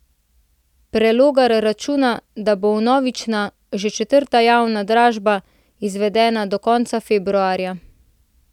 Prelogar računa, da bo vnovična, že četrta javna dražba, izvedena do konca februarja.